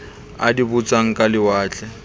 a di botsang ka lewatle